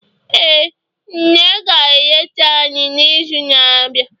ee, nne ga-eleta anyi n'izu na-abịa